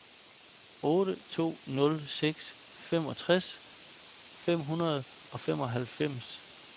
otte to nul seks femogtres fem hundrede og femoghalvfems